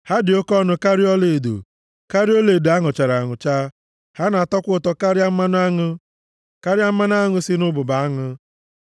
Ha dị oke ọnụ karịa ọlaedo, karịa ọlaedo a nụchara anụcha; ha na-atọkwa ụtọ karịa mmanụ aṅụ, karịa mmanụ aṅụ si nʼụbụbọ aṅụ.